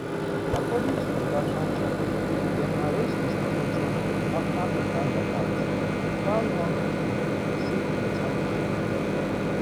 according to oga kanja dem arrest mr ojwang afta oga lagat file one complain say e dey "tarnish" im name.